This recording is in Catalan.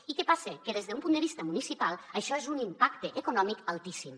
i què passa que des d’un punt de vista municipal això és un impacte econòmic altíssim